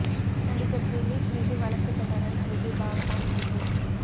நடிகர் திலீப் மீது வழக்கு தொடர நடிகை பாவனா முடிவு